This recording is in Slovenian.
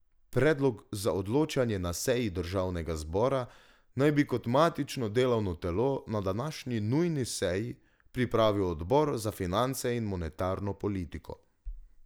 Predlog za odločanje na seji državnega zbora naj bi kot matično delovno telo na današnji nujni seji pripravil odbor za finance in monetarno politiko.